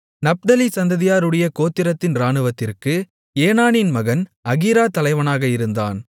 நப்தலி சந்ததியாருடைய கோத்திரத்தின் இராணுவத்திற்கு ஏனானின் மகன் அகீரா தலைவனாக இருந்தான்